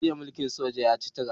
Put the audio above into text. Juyin mulkin soja ya ci tura